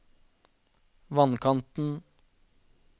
vannkanten